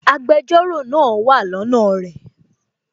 Agbẹjọ́rò náà wà lọ́nà rẹ̀